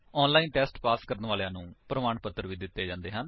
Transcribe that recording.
online test pass ਕਰਨ ਵਾਲਿਆਂ ਨੂੰ ਪ੍ਰਮਾਣ ਪੱਤਰ ਵੀ ਦਿੰਦੇ ਹਨ